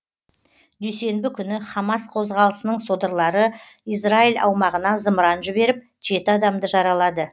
дүйсенбі күні хамас қозғалысының содырлары израиль аумағына зымыран жіберіп жеті адамды жаралады